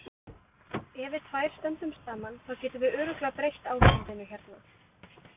Ef við tvær stöndum saman, þá getum við örugglega breytt ástandinu hérna.